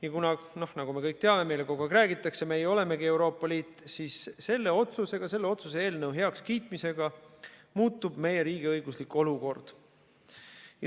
Ja kuna, nagu me kõik teame, meile kogu aeg räägitakse, et meie olemegi Euroopa Liit, siis selle otsuse eelnõu heakskiitmisega muutub meie riigiõiguslik olukord.